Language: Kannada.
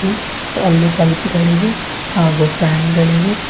ತ್ತು ಅಲ್ಲಿ ಬುಲ್ಬು ಗಳಿವೆ ಹಾಗು ಫ್ಯಾನ್ ಗಳಿವೆ.